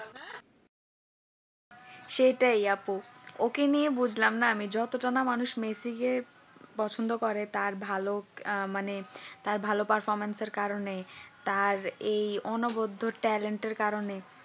সেটাই আপু ওকে নিয়ে বুঝলাম না আমি যতটুকু না মেসিকে পছন্দ করে তার ভালো মানে তার ভালো performance এর কারণ তার এই অনবদ্ধ talent এর কারনে